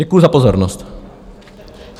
Děkuji za pozornost.